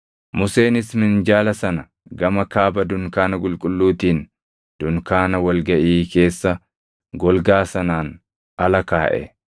Museenis minjaala sana gama kaaba dunkaana qulqulluutiin dunkaana wal gaʼii keessa golgaa sanaan ala kaaʼe.